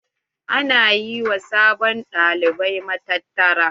Ana yi wa sabon ɗalibai matattara.